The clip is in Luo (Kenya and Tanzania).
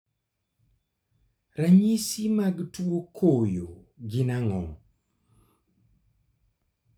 Ranyisi mag tuo koyo gin ang'o?